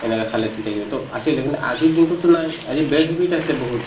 এনেকে খালে ঠিক থাকে to আছিলে কিন্তু আজিৰ দিনটোততো নাই আজি bad habit আছে বহুত